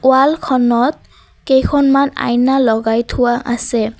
ৱালখনত কেইখনমান আইনা লগাই থোৱা আছে।